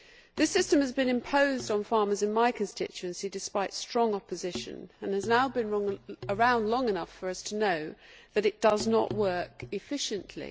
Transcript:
This system has been imposed on farmers in my constituency, despite strong opposition, and has now been around long enough for us to know that it does not work efficiently.